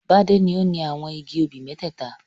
Bádé ni ó ni àwọn igi obì mẹ́tẹ́ẹ̀ta.